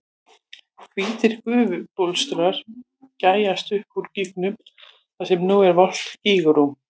Hvítir gufubólstrar gægjast upp úr gígnum þar sem nú er volgt gígvatn.